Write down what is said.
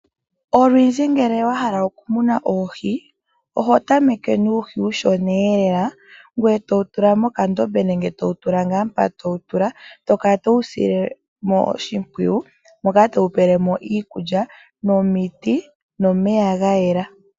Olundji ngele wahala oku muna oohi, oho tameke nuuhi uushona eelela ngwee totula moka ndobe nenge towu tula ngaa mpa towu tula, tokala towu silemo oshipwiyu moka towu pelemo iikulya nomiti nomeya gayela.